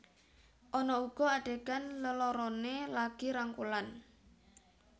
Ana uga adhegan leloroné lagi rangkulan